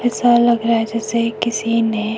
ऐसा लग रहा है जैसा किसी ने--